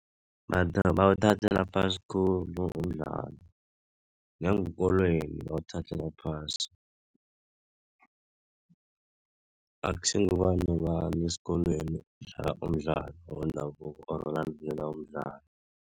Bawuthathela phasi khulu umdlalo. Ngeenkolweni bawuthathelwa phasi. Akusingubani nobani esikolweni odlala umdlalo wendabuko or olandelela umdlalo.